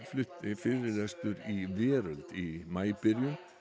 flutti fyrirlestur í Veröld í maí byrjun